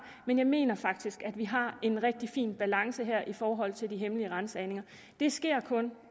men jeg mener faktisk at vi har en rigtig fin balance her i forhold til de hemmelige ransagninger det sker kun